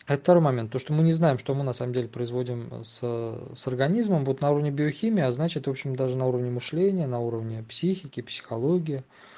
это второй момент то что мы не знаем что мы на самом деле производим с с организмом вот на уровне биохимии а значит в общем даже на уровне мышления на уровни психики психология